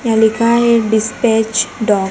यहां लिखा है डिस्पैच डॉक--